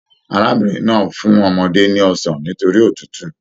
Arábìnrin náà fún ọmọdé ní ọsán nitori òtútù.